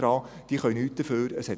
Denken Sie daran: